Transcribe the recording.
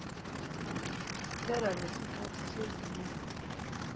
siphela lesikhathi sezinyanga